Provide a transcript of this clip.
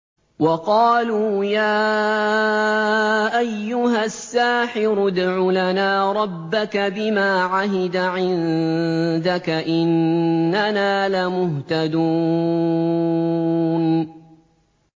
وَقَالُوا يَا أَيُّهَ السَّاحِرُ ادْعُ لَنَا رَبَّكَ بِمَا عَهِدَ عِندَكَ إِنَّنَا لَمُهْتَدُونَ